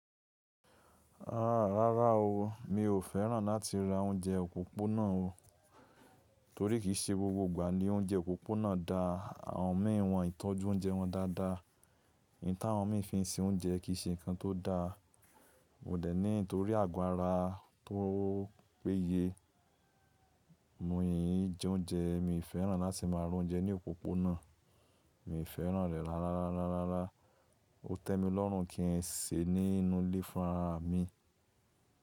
Rárá o, mi ò fẹ́ràn láti ra oúnjẹ òpópónà o. Torí kì í ṣe gbogbo ìgbà ni oúnjẹ òpópónà da àwọn mìí wọn tọ́jú oúnjẹ wọn dáadáa. Ìta àwọn mìí fi ń ṣe oúnjẹ kì í ṣe nǹkan tó da. Mò dẹ̀ ní torí àgọ́ ara tó péye mú ìjẹ oúnjẹ, mi ò fẹ́ràn láti máa rà oúnjẹ ní òpópónà. Mi ò fẹ́ràn rẹ̀ rárárararara, ó tẹ́ mi lọ́run kí ǹ ṣe ní inú ilé fúnrara mi.